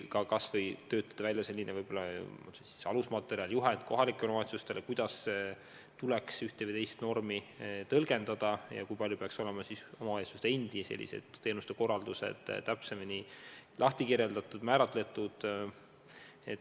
Vahest võiks välja töötada alusmaterjali, juhendi kohalikele omavalitsustele, kuidas tuleks ühte või teist normi tõlgendada ja kui palju peaks olema omavalitsuste endi teenuste korraldus täpsemini määratletud.